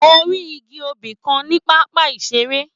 Mo rí igi obì kan ní pápá ìṣeré.